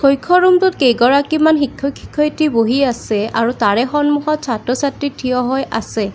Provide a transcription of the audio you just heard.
কক্ষ ৰুম টোত কেইগৰাকীমান শিক্ষক-শিক্ষয়িত্ৰী বহি আছে আৰু তাৰে সন্মুখত ছাত্ৰ-ছাত্ৰী থিয় হয় আছে।